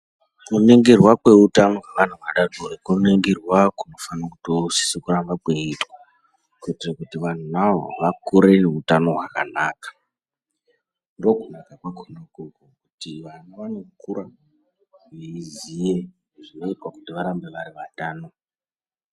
Kuningirwa kweutano hwevana vadodori, kuningirwa kunofana kutosise kuramba kweiitwa kuitire kuti vantu vawo vakure ngeutano hwakanaka, ndokunaka kwakhona ukoko kuti vana vanokura veiziye zvinoitwa kuti varambe vari vatano.